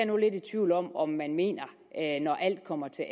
nu lidt i tvivl om om man mener når alt kommer til